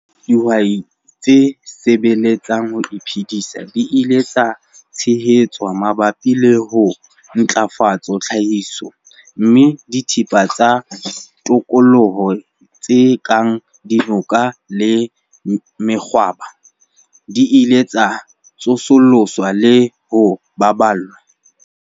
Dihwai tse sebeletsang ho iphedisa di ile tsa tshehetswa mabapi le ho ntlafatsa tlhahiso, mme dithepa tsa tikoloho tse kang dinoka le mekgwabo di ile tsa tsosoloswa le ho baballwa.